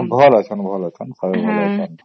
ଭଲ ଆଚ୍ଛନ ଭଲ ଆଚ୍ଛନ ସମସ୍ତେ ଭଲ ଆଚ୍ଛନ